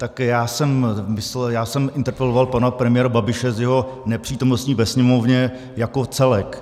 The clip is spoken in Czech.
Také já jsem interpeloval pana premiéra Babiše z jeho nepřítomnosti ve Sněmovně jako celek.